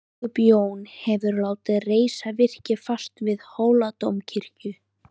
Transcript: Biskup Jón hefur látið reisa virki fast við Hóladómkirkju.